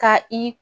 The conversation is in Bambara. Ka i